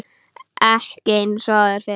Ekki eins og áður fyrr.